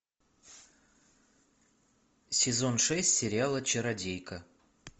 сезон шесть сериала чародейка